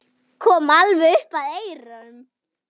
Kom alveg upp að eyranu.